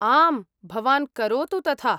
आम्, भवान् करोतु तथा।